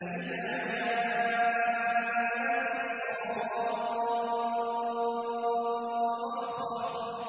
فَإِذَا جَاءَتِ الصَّاخَّةُ